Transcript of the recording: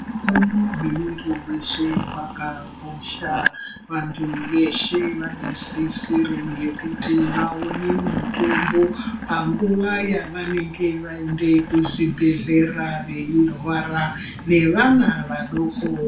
Utano hwemuntu weshe, hwakakosha. Vantu veshe vane sisiro yekuti vaone mutombo, panguva yavanenge vaende kuzvibhedhlera, veirwara, nevana vadoko.